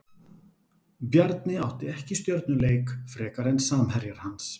Bjarni átti ekki stjörnuleik frekar en samherjar hans.